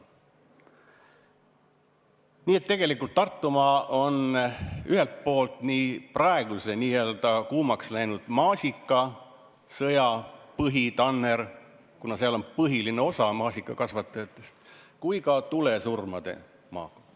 Nii et Tartumaa on nii praeguse kuumaks läinud maasikasõja põhitanner, kuna seal tegutseb põhiline osa maasikakasvatajatest, kui ka tulesurmade maa.